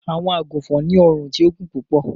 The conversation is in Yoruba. Àwọǹ àgúnfọn ni ọ̀run ti ò gún púpọ̀.